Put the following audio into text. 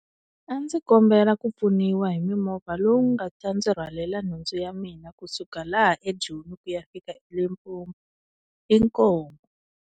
A ndzi kombela ku pfuniwa hi mimovha lowu nga ta ndzi rhwalela nhundzu ya mina kusuka laha eJoni ku ya fika Limpopo inkomu.